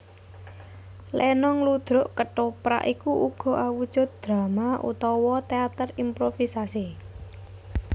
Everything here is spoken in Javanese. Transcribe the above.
Lenong ludruk kethoprak iku uga awujud drama utawa téater improvisasi